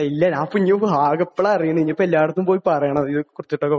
ഇല്ലാ, ഞാനിപ്പോ ഇനി ആകെ ഇപ്പളാ അറിയുന്നത്, ഇനിയിപ്പോ എല്ലാരടത്തും പോയി പറയണം.